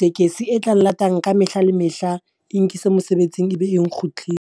tekesi e tlang lata ka mehla le mehla, e nkise mosebetsing e be e .